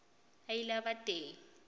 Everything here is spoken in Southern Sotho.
a ile a ba teng